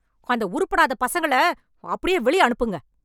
அந்த உருப்படாத பசங்கள, அப்டியே வெளிய அனுப்புங்க...